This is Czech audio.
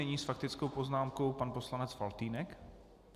Nyní s faktickou poznámkou pan poslanec Faltýnek.